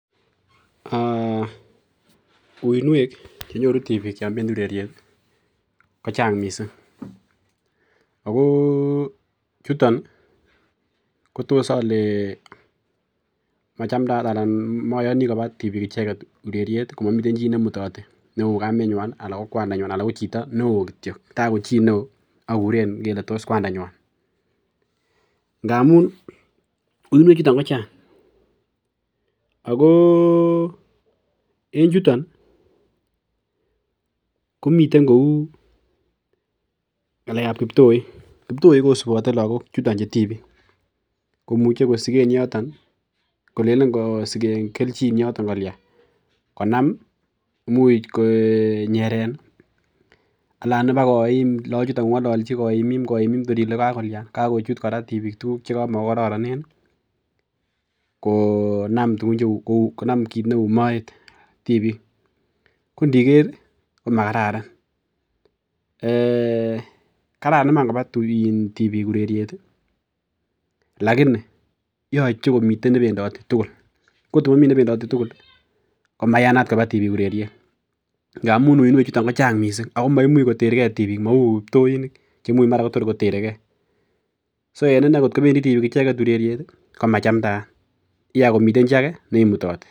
Ee uinwek chenyoru tibiik yon bendi ureriet ii kochang missing' ako chuton ii kotos ole machamdaat alan moyoni kobaa tibiik icheket ureriet komomiten chi nemutote neu kamenywan ana kokwanda ala kochito newo kityok taa ko chi neo okuren ikele tos kwandanywan ,ngamun uinwechuton kochang ako en chuton ii komiten kou ngalekab kiptoik, kiptoik kosibote lagok chuton chu tibiik komuche kosigen yoton ii kolelen kosiken keljin yoton kolian konam imuch konyeren alan ibaa koim loochuton kongoloji koim im koim im tor ile kokakolian, kokochut koraa tibiik tuguk chekama kokororone konam tuguch, konam kot neu moet tibiik ko I diker ii komakararan ee kararan iman kobaa tibiiik ureriet ii [vs]lakini yoche komi nebendote twan kotum miten nebendote tugul komayan kobaa tibiik ureriet ngamun uinwechuton kochang missing' ako maimuch koterkee mou kiptoinik chemuch koter keeso en inee kot ko end tibiik ureriet icheket ii ko machamdaat k akneimutoti